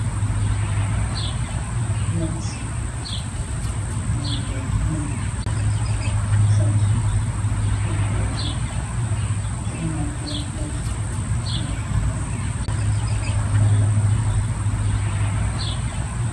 plate nonde milk set mom ɗeɓɓo do jogi ɓe ɗo naftira plate gam nyamugo nyamdu, gam balla ɓangal.